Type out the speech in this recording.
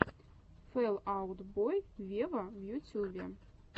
фэл аут бой вево в ютюбе